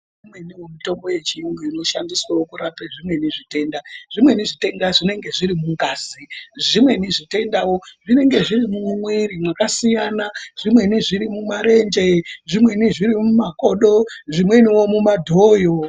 Imweni mitombo yechiyungu inoshandiswe kurapawo zvimweni zvitenda zvimweni zvitenda zvinenge zviri mungazi zvimweni zvitendawo zvinenge zviri mumwiri mwakasiyana zvimweni zviri mumarenie zvimweni mukakodo zvimweni mumadhoyo.